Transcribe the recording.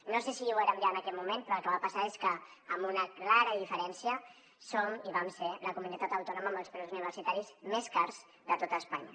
no sé si ho érem ja en aquell moment però el que va passar és que amb una clara diferència som i vam ser la comunitat autònoma amb els preus universitaris més cars de tot espanya